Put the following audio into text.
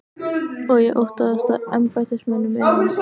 Og ég óttaðist að embættismönnum innan